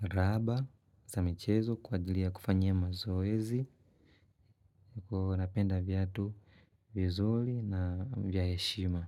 raba za michezo kwa ajili ya kufanyia mazoezi. Huwa napenda viatu vizuri na vya heshima.